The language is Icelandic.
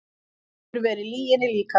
Hefur verið lyginni líkast